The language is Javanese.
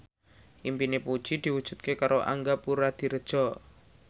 impine Puji diwujudke karo Angga Puradiredja